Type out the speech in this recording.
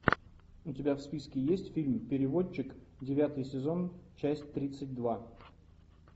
у тебя в списке есть фильм переводчик девятый сезон часть тридцать два